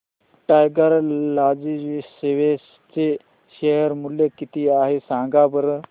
tiger logistics चे share मूल्य किती आहे सांगा बरं